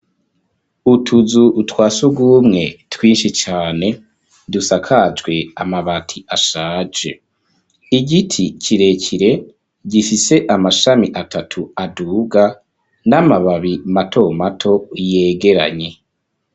Utuzu twa surwumwe, twinshi cane, dusakajwe amabati, ashaje; igiti kirekire, gifise amashami atatu, aduga, n'amababi mato mato, yegeranye.